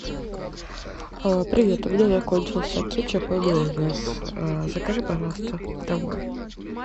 привет у меня закончился кетчуп и майонез закажи пожалуйста домой